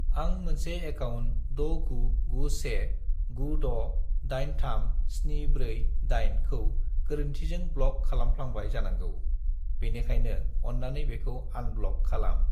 आं मोनसे एकाउन्ट 69919683748 खौ गोरोन्थिजों ब्ल'क खालामफ्लांबाय जानांगौ, बेनिखायनो अन्नानै बेखौ आनब्ल'क खालाम।